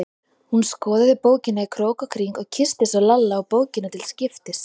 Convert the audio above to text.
Hún skoðaði bókina í krók og kring og kyssti svo Lalla og bókina til skiptis.